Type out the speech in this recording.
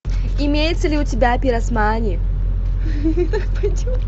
имеется ли у тебя пиросмани